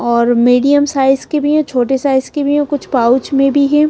और medium size के भी है छोटे साइज के भी है कुछ पाउच में भी है।